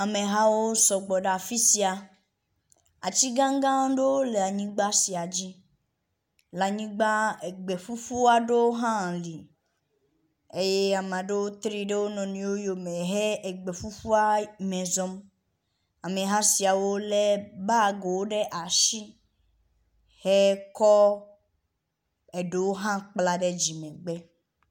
Amehawo sɔgbɔ ɖe afi sia. Ati gã gã ɖewo le anyigba sia dzi. Le anyigba egbe ƒuƒu aɖewo hã li eye ame aɖewo tri ɖe wo nɔnɔewo yome he gbe ƒuƒua me zɔm. Ameha siawo lé bagiwo ɖe asi hekɔ eɖewo hã kpla ɖe dzimegbe.